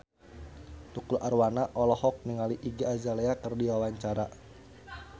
Tukul Arwana olohok ningali Iggy Azalea keur diwawancara